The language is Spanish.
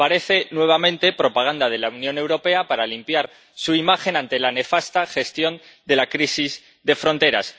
Parece nuevamente propaganda de la Unión Europea para limpiar su imagen ante la nefasta gestión de la crisis de fronteras.